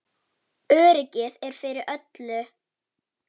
Öryggið er fyrir öllu.